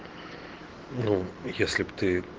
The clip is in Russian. ну если бы ты